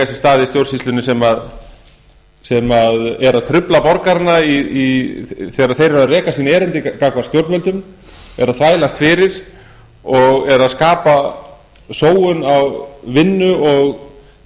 sér stað í stjórnsýslunni sem eru að trufla borgarana þegar þeir eru að reka sín erindi gagnvart stjórnvöldum eru að þvælast fyrir og eru að skapa sóun á vinnu og